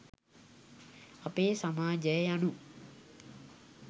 අපේ සමාජය යනු